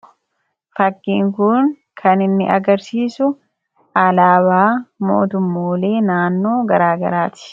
Fakkiin kun kan inni agarsiisu alaabaa mootummoolee naannoo garaagaraa ti.